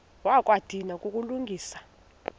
wakha wadinwa kukulungisa